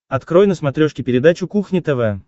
открой на смотрешке передачу кухня тв